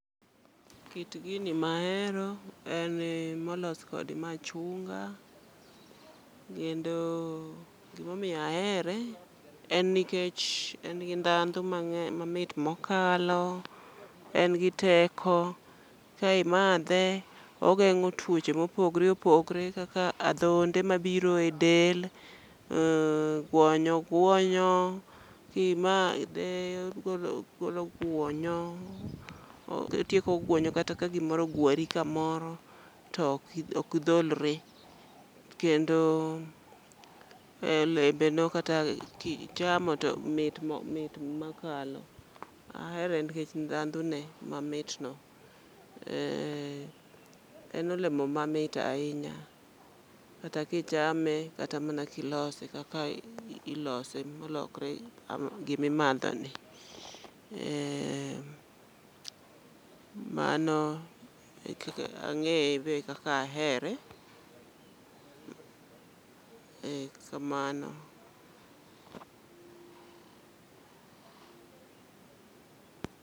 Kit ginimahero en molos kod machunga kendo gim aomiyo ahere en nikech en gi ndhandhu mangeny, mamit mokalo, en gi teko kimadhe ogengo tuoche maopogore opogore kaka adhonde mabiro e del, eeh, guonyo guonyo, kimadh eogolo guonyo, otieko gwonyo kata ka gimoro ogwari kamoro to ok dholre kendo kata kichamo to mit ma mit mokalo. Ahere nikech ndhandhu ne mamit no, en olemo ma mit ahinya kata kichame kata kilose kaka ilos emolokre gim aimadho ni. Eeeh, mano e kaka angey ebe ekaka ahere, eeh, kamano.